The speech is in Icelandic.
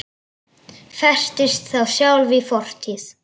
Festist þá sjálf í fortíð.